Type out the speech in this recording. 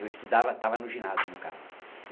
Eu estudava, estava no ginásio, no caso.